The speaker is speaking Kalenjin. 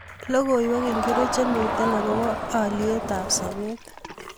Logoiwek ingircho chemiten akobo aliat ab sobet